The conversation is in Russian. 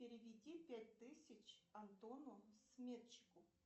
переведи пять тысяч антону сметчику